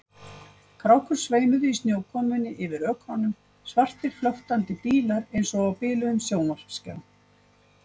Krákur sveimuðu í snjókomunni yfir ökrunum, svartir flöktandi dílar eins og á biluðum sjónvarpsskjá.